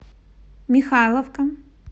михайловка